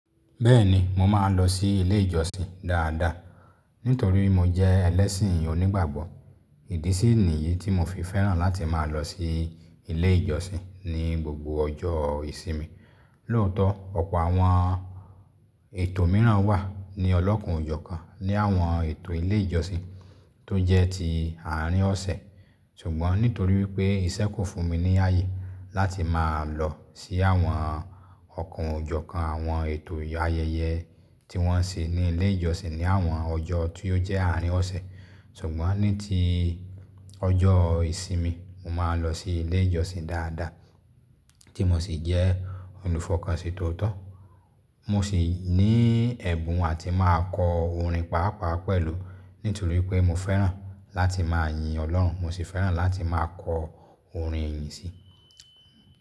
Bẹ́ẹ̀ni, mo máa ń lọ sí ilé ìjọsìn dáadáa nítorí mo jẹ́ ẹlẹ́sìn onígbàgbọ́. Ìdí sí níyìí tí mo fi fẹ́ràn láti máa lọ sí ilé ìjọsìn ni gbogbo ọjọ́ ìsinmi. Lóòótọ́, ọ̀pọ̀ àwọn ètò mìíràn wà ní ọlọ́kun òjọ́ kan ní àwọn ètò ilé ìjọsìn tó jẹ́ ti àárín ọ̀sẹ̀. Ṣùgbọ́n nítorí wípé ìṣẹ́ kò fún mi ní ààyè láti máa lọ sí àwọn ọ̀kún òjọ́ kan àwọn ètò ayẹyẹ tí wọ́n ṣe ní ilé ìjọsìn ní àwọn ọjọ́ tí ó jẹ́ àárín ọ̀sẹ̀. Ṣùgbọ́n ní ti ọjọ́ ìsinmi, mo máa ń lọ sí ilé ìjọsìn dáadáa tí mo sì jẹ́ olùfọkànsìn tóótọ́. Mo sì ní ẹ̀bùn àti máa kọ orin pàápàá pẹ̀lú nítorí pé mo fẹ́ràn láti máa yin Ọlọ́run, mo sì fẹ́ràn láti máa kọ orin ìyìn sí.